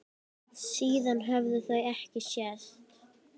Síðan höfðu þau ekki sést.